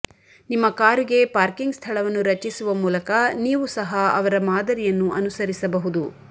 ನಿಮ್ಮ ಕಾರುಗೆ ಪಾರ್ಕಿಂಗ್ ಸ್ಥಳವನ್ನು ರಚಿಸುವ ಮೂಲಕ ನೀವು ಸಹ ಅವರ ಮಾದರಿಯನ್ನು ಅನುಸರಿಸಬಹುದು